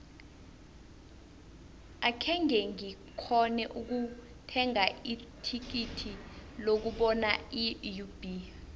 akhenge ngikghone ukuthenga ithikithi lokubona iub